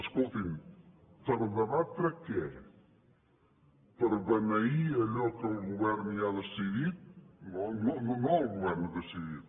escoltin per debatre què per beneir allò que el govern ja ha decidit no el govern ha decidit